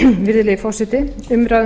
virðulegi forseti umræða um